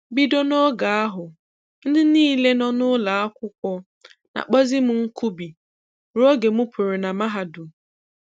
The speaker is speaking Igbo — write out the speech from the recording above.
Bido n'oge ahụ, ndị niile nọ n'ụlọakwụkwọ na-akpọzi m Nkubi rue oge m pụrụ na mahadum.